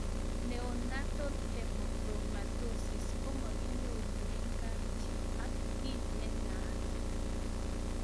Neonatal hemochromatosis komakinyorune kapchii ak kiy ne naat